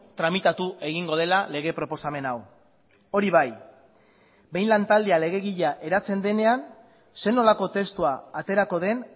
tramitatu egingo dela lege proposamen hau hori bai behin lantaldea legegilea eratzen denean zer nolako testua aterako den